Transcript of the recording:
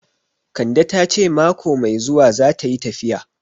Kande ta ce mako mai zuwa zata yi tafiya